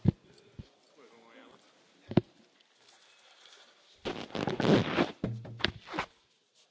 Akik a konkrétumokat hiányolják egy 108 oldalas jelentésben mindegyiküknek elküldtük, kérem olvassák